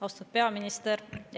Austatud peaminister!